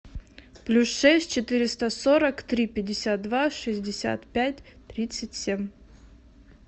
плюс шесть четыреста сорок три пятьдесят два шестьдесят пять тридцать семь